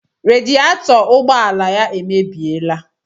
Radietọ ụgbọala ya emebiela